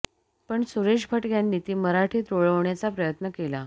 पण सुरेश भट यांनी ती मराठीत रुळवण्याचा प्रयत्न केला